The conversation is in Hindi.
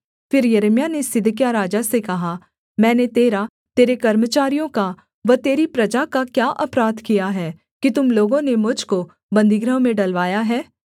फिर यिर्मयाह ने सिदकिय्याह राजा से कहा मैंने तेरा तेरे कर्मचारियों का व तेरी प्रजा का क्या अपराध किया है कि तुम लोगों ने मुझ को बन्दीगृह में डलवाया है